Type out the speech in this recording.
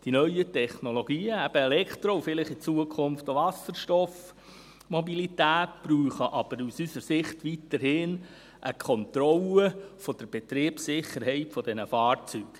Die neuen Technologien – eben: Elektro- und in Zukunft vielleicht auch Wasserstoff-Mobilität – brauchen aber aus unserer Sicht weiterhin eine Kontrolle der Betriebssicherheit dieser Fahrzeuge.